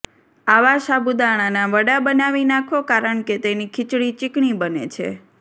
આવા સાબુદાણાના વડા બનાવી નાંખો કારણ કે તેની ખીચડી ચીકણી બને છે